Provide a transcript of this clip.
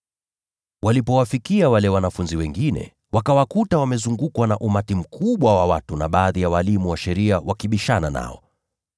Walipowafikia wale wanafunzi wengine, wakawakuta wamezungukwa na umati mkubwa wa watu na baadhi ya walimu wa sheria wakibishana nao.